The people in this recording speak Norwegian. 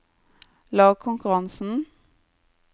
lagkonkurransen